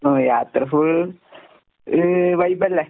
ഓ യാത്ര full a വൈബല്ലേ?